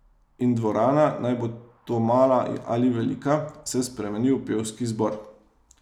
In dvorana, naj bo to mala ali velika, se spremeni v pevski zbor.